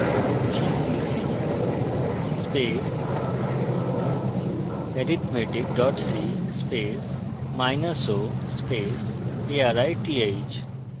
gcc arithmetic co arith